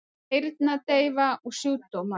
Heyrnardeyfa og sjúkdómar